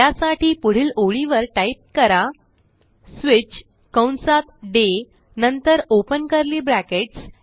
त्यासाठी पुढील ओळीवर टाईप करा स्विच कंसात डे नंतर ओपन कर्ली ब्रॅकेट्स